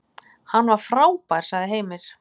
Hann var frábær, sagði Heimir.